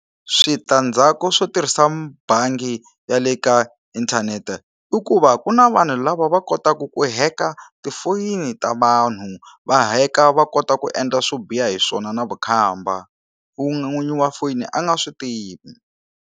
Switandzhaku swo tirhisa bangi ya le ka inthanete i ku va ku na vanhu lava va kotaka ku heka tifoyini ta vanhu va heka va kota ku endla swo biha hi swona na vukhamba vu n'winyi wa foyini a nga swi tivi.